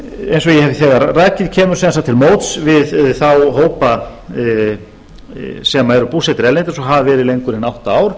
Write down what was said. eins og ég hef þegar rakið kemur sem sagt til móts við þá hópa sem eru búsettir erlendis og hafa verið lengur en átta ár